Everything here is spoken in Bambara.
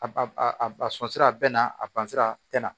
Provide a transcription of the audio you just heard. A ba a a sɔn sira bɛɛ na a bansira a tɛna